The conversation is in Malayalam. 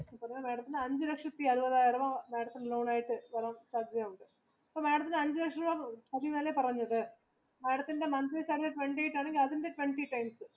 അഞ്ച് ലക്ഷത്തി അമ്പതിനായിരം madam തിന് തരാൻ സാധയതയുണ്ട് അപ്പൊ madam അഞ്ച് ലക്ഷം തന്നെയെല്ലേ പറഞ്ഞത് madam ത്തിന്റെ monthly salary twenty ആണെങ്കിൽ അതിന്റെ twenty times